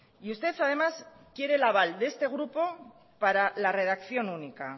y usted además quiere el aval de este grupo para la redacción única